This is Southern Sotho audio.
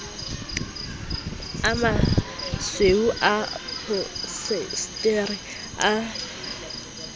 a masweu a pholiesetere a